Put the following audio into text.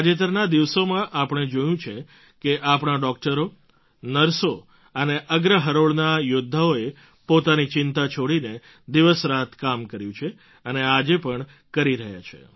તાજેતરના દિવસોમાં આપણે જોયું છે કે આપણા ડૉક્ટરો નર્સો અને અગ્ર હરોળના યોદ્ધાઓએ પોતાની ચિંતા છોડીને દિવસરાત કામ કર્યું છે અને આજે પણ કરી રહ્યા છે